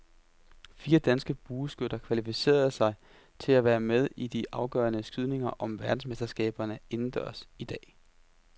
Fire danske bueskytter kvalificerede sig til at være med i de afgørende skydninger om verdensmesterskaberne indendørs i dag.